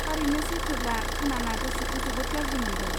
थारैनो सैथोब्ला, खोनाना गोसोखौ जोबोद गाज्रि मोनदों।